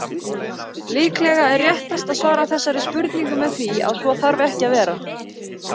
Líklega er réttast að svara þessari spurningu með því að svo þarf ekki að vera.